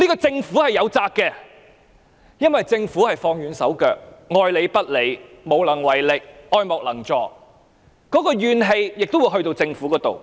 政府對此實在有責，因為政府放軟手腳、愛理不理、無能為力、愛莫能助，市民的那股怨氣亦會轉移到政府。